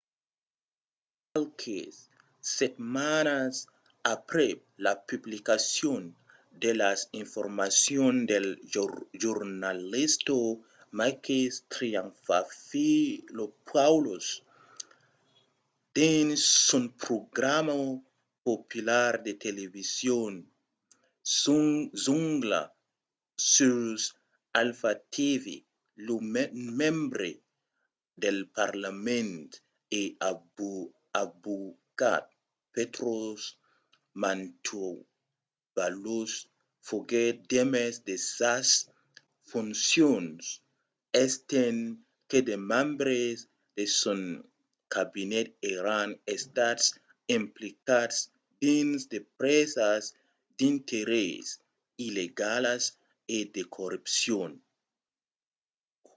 fa qualques setmanas aprèp la publicacion de las informacions del jornalista makis triantafylopoulos dins son programa popular de television zoungla sus alpha tv lo membre del parlament e avocat petros mantouvalos foguèt demés de sas foncions estent que de membres de son cabinet èran estats implicats dins de presas d'interès illegalas e de corrupcion